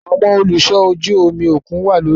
Awọn oluṣọ ojú omi okun wa lori iṣọ